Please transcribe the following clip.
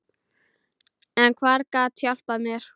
En hver gat hjálpað mér?